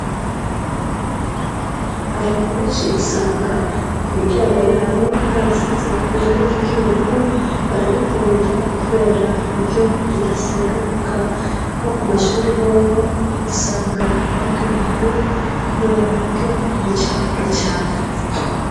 Abantu benshi usanga ku miryango yabo barasize irangi ry'ubururu, bararikunda kubera niryo ridaseruka. Nko ku mashure hoho usanga ariryo rihari kubera naryo ntiricafura cane.